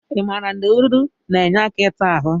I maara na ewedu na-enye aka ịta ahụ?